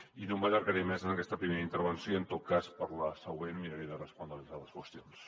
i no m’allargaré més en aquesta primera intervenció i en tot cas per a la següent miraré de respondre a les altres qüestions